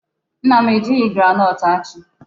Nna m ejighị groundnut achị.